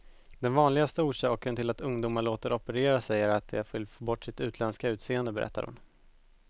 Den vanligaste orsaken till att ungdomar låter operera sig är att de vill få bort sitt utländska utseende, berättar hon.